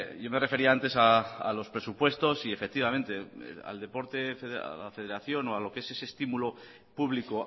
yo me refería antes a los presupuestos y efectivamente al deporte a la federación o a lo que es ese estímulo público